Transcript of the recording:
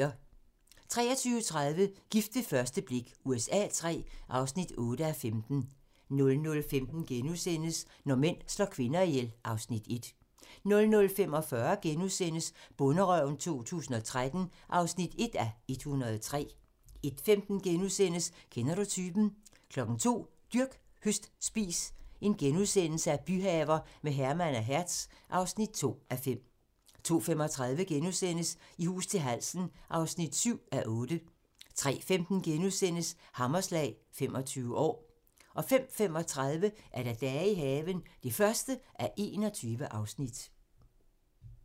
23:30: Gift ved første blik USA III (8:15) 00:15: Når mænd slår kvinder ihjel (Afs. 1)* 00:45: Bonderøven 2013 (1:103)* 01:15: Kender du typen? * 02:00: Dyrk, høst, spis - byhaver med Herman og Hertz (2:5)* 02:35: I hus til halsen (7:8)* 03:15: Hammerslag - 25 år * 05:35: Dage i haven (1:21)